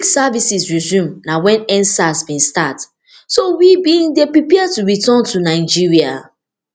di week services resume na wen endsars bin start so we bin dey prepare to return to nigeria